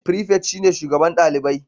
Prefect shine shugaban dalibai